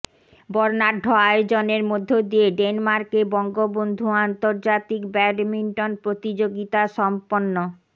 বর্ণাঢ্য আয়োজনের মধ্য দিয়ে ডেনমার্কে বঙ্গবন্ধু আন্তর্জাতিক ব্যাডমিন্টন প্রতিযোগিতা সম্পন্ন